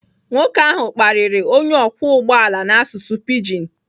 Nwoke ahụ kparịrị onye ọkwọ ụgbọ ala n'asụsụ pidgin.